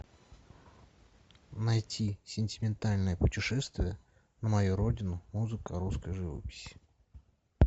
найти сентиментальное путешествие на мою родину музыка русской живописи